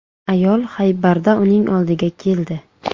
Ayol Xaybarda uning oldiga keldi.